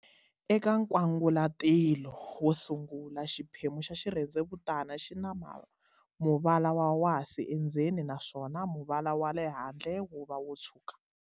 Eka nkwangalatilo wo sungula, xiphemu xa xirhendzevutana xi na muvala wa wasi endzeni, naswona muvala wale handle wuva wotshwuka.